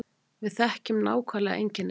Við þekkjum nákvæmlega einkennin